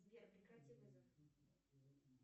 сбер прекрати вызов